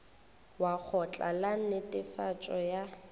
wa lekgotla la netefatšo ya